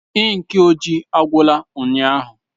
Ink ojii agwụla ụnyaahụ.